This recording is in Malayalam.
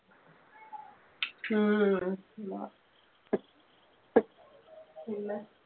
ഉം പിന്നെ